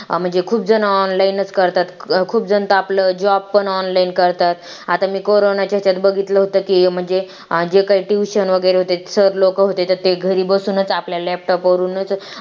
म्हणजे खूप जण online करतात खूप जनता आपलं job पण online करतात आता मी कोरोना त्याच्यात बघितलं होतं की म्हणजे जे काही tuition वगैरे होते sir लोक होते तर ते लोक घरी बसूनच आपल्याला laptop वरूनच